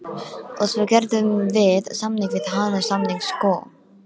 og svo gerðum við samning við hana, samning sko.